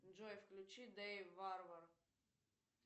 джой включи дэйв варвар